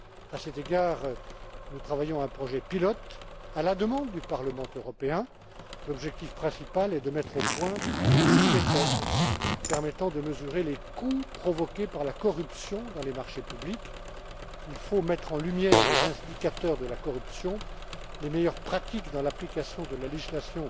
À cet égard, nous travaillons à un projet pilote, à la demande du Parlement européen. L'objectif principal est de mettre au point une méthode permettant de mesurer les coûts provoqués par la corruption dans les marchés publics. Il faut mettre en lumière les indicateurs de la corruption, les meilleures pratiques dans l'application de la législation